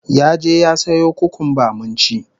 Ya je ya sayo kukumba mun ci